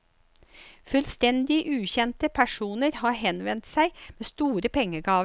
Fullstendig ukjente personer har henvendt seg med store pengegaver.